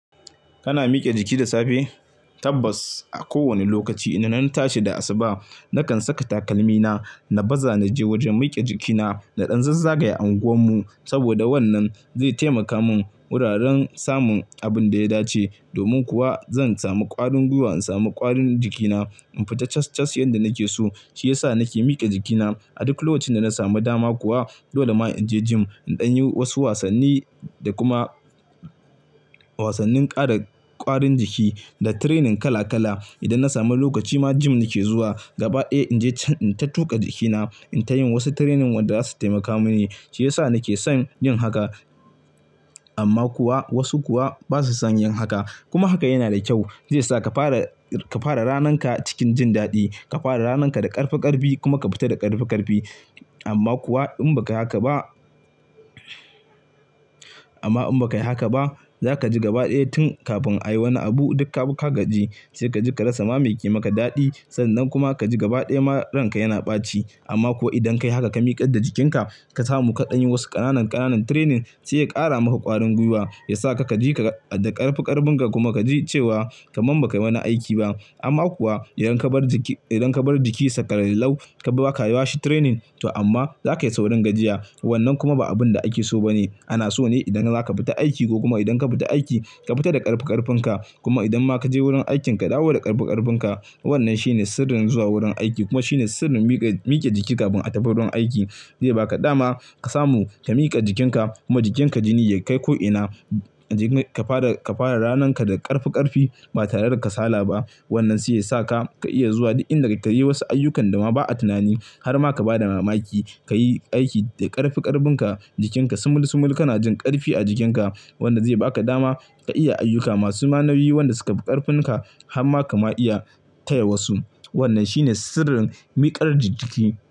Kana mikiya jiki da safe? Tabbas a kowane lokaci. Ina nan tashi da asuba nakan saka takalmina na baza naje wajen mikiya jikina na ɗan zazzage unguwan mu saboda wannan zai taimaka min wuraren samun abin da ya dace. Domin kuwa zan samu ƙwarin gwiwa in samu ƙwarin jikina. In fita cas-cas yanda nake so shi yasa nake mike jikina. A duk lokacin da na samu dama kuwa dole ma inje gym in ɗan yi wasu wasanni da kuma wasannin ƙara ƙwarin jiki da training kala kala. Idan na samu lokaci ma gym nake zuwa gaba ɗaya inje ta tuƙa jikina, in tayin wasu training wanda zasu taimaka mini. Shi yasa nake son yin haka amma kuwa wasu kuwa basu son yin haka. Kuma haka yana da kyau. Zai sa ka fara ka fara rananka cikin jin daɗi. Ka fara rananka da ƙarfi ƙarfi kuma ka fita da ƙarfi ƙarfi. Amma kuwa in baka haka ba, amma in baka yi haka ba zaka ji gaba ɗaya tun kafin ayi wani abu duka ka gaji. Sai ka ji ka rasa mamaki maka daɗi sannan kuma kaji gaba ɗaya ma ranaka yana ɓaci. Amma kuwa idan kayi haka ka miƙar da jikinka ka samu kaɗan yin wasu ƙananan ƙananan training sai ya ƙara maka ƙwarin gwiwa. Ya sa ka ji da ƙarfi ƙarfin ka kuma ka ji cewa kaman baka yi wani aiki ba. Amma kuwa idan kabar jiki idan kabar jikinsa ƙalallau ka baka yiwa shi training to amma zakayi saurin gajiya. Wannan kuma ba abun da ake so ba ne. Ana so ne idan zaka fita aiki ko kuma idan ka fita aiki ka fita da ƙarfi ƙarfinka. Kuma idan ma kaje wurin aikin ka dawo da ƙarfi ƙarfinka. Wannan shine sirrin zuwa wurin aiki kuma shine sirrin mike mike jiki kafin a tafi wurin aiki. Zai baka dama ka samu ka miƙa jikinka kuma jikinka jini ya kai ko'ina. Ka fara ka fara ranaka da ƙarfi ƙarfi ba tare da kasala ba. Wannan sai yasa ka ka iya zuwa duk inda kake yi wasu ayyukan da ma ba'a tunani. Har ma ka ba da mamaki ka yi aiki da ƙarfi ƙarfinka jikinka sumul sumul kana jin ƙarfi a jikinka. Wanda zai baka dama ka iya ayyuka masu manauyi wanda suka fi ƙarfinka. Hamma kama iya taya wasu. Wannan shine sirrin miƙar jiki.